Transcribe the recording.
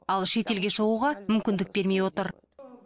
ал шетелге шығуға мүмкіндік бермей отыр